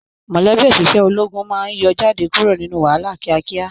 Mọlẹbi oṣiṣẹ ológun máa n yọ jáde kúrò nínú wàhálà kíákíá.